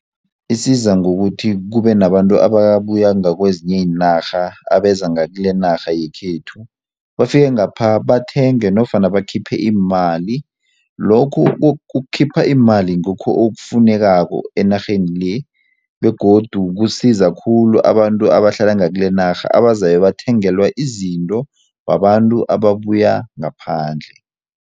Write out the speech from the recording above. Isiza ngokuthi kube nabantu ababuya ngakwezinye iinarha abeza ngakilenarha yekhethu bafike ngapha bathenge nofana bakhiphe iimali lokhu ukukhipha imali ngikho okufunekako enarheni le begodu kusiza khulu abantu abahlala ngakilenarha abazabe bathengelwa izinto babantu ababuya ngaphandle.